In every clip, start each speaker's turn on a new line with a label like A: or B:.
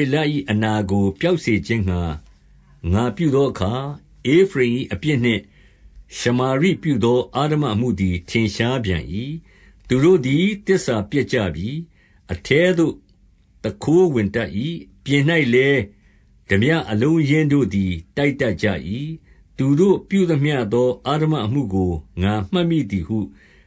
A: ေလ၏အနာကို ပျောက်စေခြင်းငှါ ငါပြု သောအခါ၊ ဧဖရိမ်၏အပြစ်နှင့် ရှာမာရိပြုသော အဓမ္မ အမှုသည် ထင်ရှားပြန်၏။ သူတို့သည် သစ္စာပျက်ကြပြီ။ အထဲသို့ သူခိုးဝင်တတ်၏။ ပြင်၌လည်း ထားပြအလုံး အရင်းတို့သည် တိုက်တတ်ကြ၏။ 2 သူတို့ပြုသမျှသော အဓမ္မအမှုကို ငါမှတ်မိသည် ဟု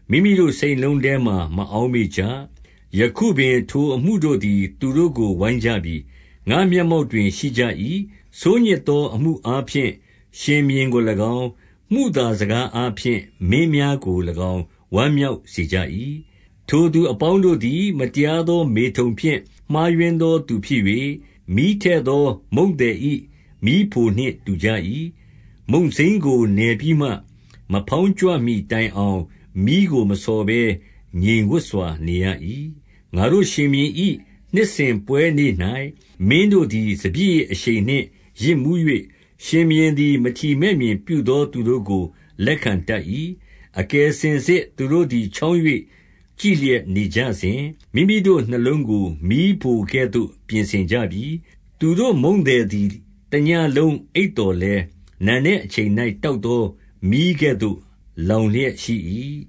A: မိမိတို့ စိတ်နှလုံးထဲမှာ မအောက်မေ့ကြ။ ယခုပင်ထို အမှုတို့သည် သူတို့ကို ဝိုင်းကြပြီ။ ငါ့မျက်မှောက်တွင် ရှိကြ၏။ 3 ဆိုးညစ်သော အမှုအားဖြင့် ရှင်ဘုရင်ကို၎င်း၊ မုသာစကားအားဖြင့် မင်းများကို၎င်း ဝမ်းမြောက်စေ ကြ၏။ 4 ထိုသူအပေါင်းတို့သည် မတရားသော မေထုန် ဖြင့် မှားယွင်းသော သူဖြစ်၍၊ မီးထည့်သော မုန့်သည်၏ မီးဖိုနှင့်တူကြ၏။ မုန့်စိမ်းကိုနယ်ပြီးမှ မဖေါင်းကြွမှီတိုင် အောင်၊ မီးကိုမဆော်ဘဲ ငြိမ်ဝပ်စွာ နေရ၏။ 5 ငါတို့ရှင်ဘုရင်၏ နှစ်စဉ်ပွဲနေ့၌ မင်းတို့သည် စပျစ်ရည်အရှိန်နှင့် ယစ်မူး၍ ရှင်ဘုရင်သည် မထီမဲ့မြင် ပြုသော သူတို့ကို လက်ခံတတ်၏။ 6 အကယ်စင်စစ် သူတို့သည် ချောင်း၍ ကြည့် လျက်၊ နေကြစဉ် မိမိတို့နှလုံးကိုမီးဖိုကဲ့သို့ ပြင်ဆင်ကြပြီ။ သူတို့မုန့်သည် တညဉ့်လုံးအိပ်သော်လည်း နံနက်အချိန်၌ တောက်သော မီးကဲ့သို့ လောင်လျက်ရှိ၏။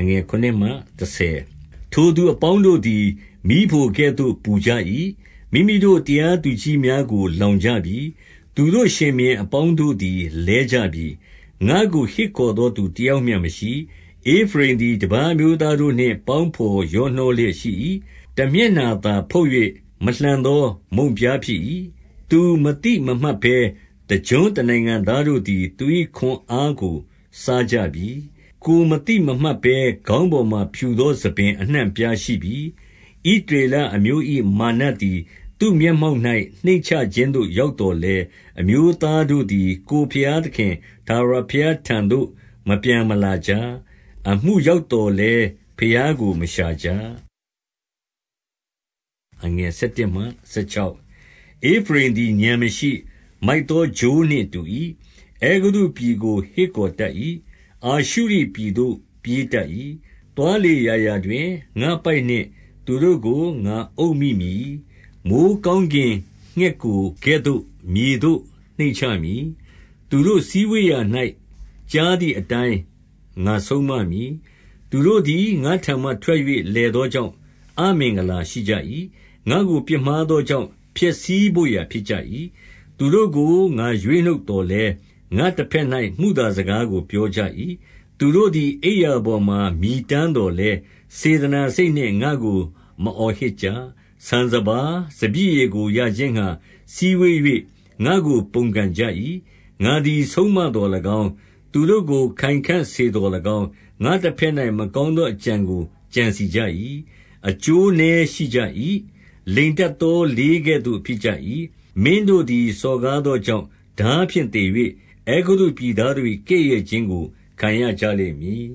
A: 7 ထိုသူအပေါင်းတို့သည် မီးဖိုကဲ့သို့ ပူကြ၏။ မိမိတို့ တရားသူကြီးများကို လောင်ကြပြီ။ သူတို့ရှင်ဘုရင် အပေါင်းတို့သည် လဲကြပြီ။ ငါ့ကိုဟစ်ခေါ်သော သူတယောက်မျှမရှိ။ 8 ဧဖရိမ်သည်တပါး အမျိုးသားတို့နှင့် ပေါင်းဘော်ရောနှော လျက်ရှိ၏။ တမျက်နှာသာဖုတ်၍ မလှန်သော မုန့်ပြား ဖြစ်၏။ 9 သူမသိမမှတ်ဘဲ တကျွန်းတနိုင်ငံသားတို့သည် သူ၏ ခွန်အားကို စားကြပြီ။ ကိုယ်မသိမမှတ်ဘဲ ခေါင်း ပေါ်မှာ ဖြူသောဆံပင် အနှံ့အပြားရှိပြီ။ 10 ဣသရေလအမျိုး၏ မာနသည် သူ့မျက်မှောက်၌ နှိမ့်ချခြင်းသို့ ရောက်သော်လည်း အမျိုးသားတို့သည် ကိုယ် ဘုရားသခင်ထာဝရဘုရားထံတော်သို့ မပြန်မလာ ကြ။ အမှုရောက်သော်လည်း ဘုရားကို မရှာကြ။ 11 ဧဖရိမ်သည် ဥာဏ်မရှိ၊ မိုက်သော ချိုးနှင့်တူ၏။ အဲဂုတ္တုပြည်ကို ဟစ်ခေါ်တတ်၏။ အာရှုရိပြည်သို့ ပြေး တတ်၏။ 12 သွားလေရာရာတွင် ငါ့ပိုက်နှင့်သူတို့ကို ငါအုပ်မိ မည်။ မိုဃ်းကောင်းကင်ငှက်ကိုကဲ့သို့ မြေသို့နှိပ်ချမည်။ သူတို့စည်းဝေးရာ၌ ကြားသည်အတိုင်းငါဆုံးမမည်။ 13 သူတို့သည် ငါ့ထံမှ ထွက်၍ လည်သောကြောင့် အမင်္ဂလာရှိကြ၏။ ငါ့ကိုပြစ်မှားသောကြောင့် ဖျက်ဆီး ဘို့ရာ ဖြစ်ကြ၏။ သူတို့ကို ငါရွေးနှုတ်သော်လည်း၊ ငါ့တဘက်၌ မုသာစကားကို ပြောကြ၏။ 14 သူတို့သည် အိပ်ရာပေါ်မှာ မြည်တမ်းသော် လည်း၊ စေတနာစိတ်နှင့် ငါ့ကို မအော်ဟစ်ကြ။ ဆန်စပါး၊ စပျစ်ရည်ကို ရခြင်းငှါ စည်းဝေး၍ ငါ့ကိုပုန်ကန်ကြ၏။ 15 ငါသည် ဆုံးမသော်၎င်း၊ သူတို့ကို ခိုင်ခံ့စေသော်၎င်း၊ ငါ့တဘက်၌ မကောင်းသော အကြံကိုကြံစည်ကြ၏။ 16 အကျိုးနည်းရှိကြ၏။ လိမ်တတ်သောလေးကဲ့သို့ ဖြစ်ကြ၏။ မင်းတို့သည် စော်ကားသောကြောင့် ထားဖြင့် သေ၍ အဲကုတ္တုပြည်သားတို့၏ ကဲ့ရဲ့ခြင်းကို ခံရကြလိမ့် မည်